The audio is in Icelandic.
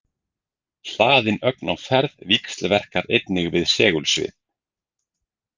Hlaðin ögn á ferð víxlverkar einnig við segulsvið.